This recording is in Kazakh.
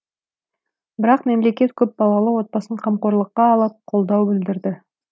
бірақ мемлекет көпбалалы отбасын қамқорлыққа алып қолдау білдірді